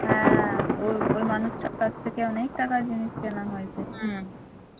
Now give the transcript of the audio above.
হ্যাঁ ও ওই মানুষটার কাছ থেকে অনেক টাকার জিনিস কেনা হয়ছে